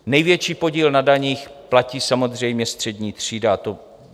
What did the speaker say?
Největší podíl na daních platí samozřejmě střední třída.